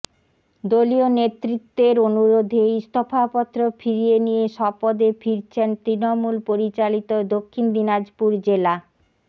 দলীয় নেতৃত্বের অনুরোধে ইস্তফাপত্র ফিরিয়ে নিয়ে স্বপদে ফিরছেন তৃণমূল পরিচালিত দক্ষিণ দিনাজপুর জেলা